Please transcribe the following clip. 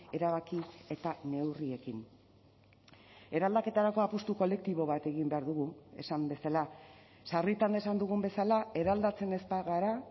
erabaki eta neurriekin eraldaketarako apustu kolektibo bat egin behar dugu esan bezala sarritan esan dugun bezala eraldatzen ez bagara